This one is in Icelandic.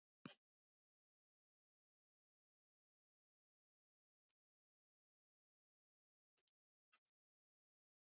Honum hefur verið refsað fyrir það sem hann gerði